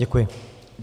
Děkuji.